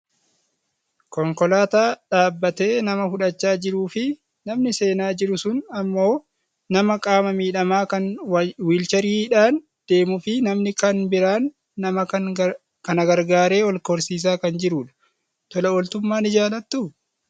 Konkolaataa dhaabbatee nama fudhachaa jiruufi namni seenaa jiru sun ammoo nama qaama miidhamaa kan wiilchariidhaan deemuufi namni kan biraan nama kana gargaaree ol korsiisaa kan jirudha. Tola ooltummaan ni jaalattuu?